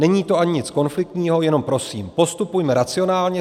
Není to ani nic konfliktního, jenom prosím postupujme racionálně.